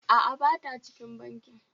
A'a, ba ta cikin bankin.